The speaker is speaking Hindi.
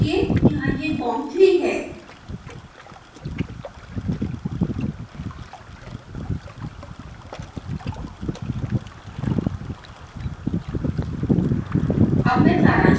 उदाहरण के लिए यहाँ यह com 3 है